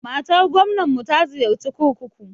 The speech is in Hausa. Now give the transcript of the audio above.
Matar gwamnar jiharmu ta ziyarci kurkuku.